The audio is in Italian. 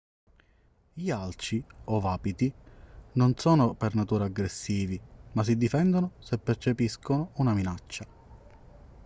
gli alci o wapiti non sono per natura aggressivi ma si difendono se percepiscono una minaccia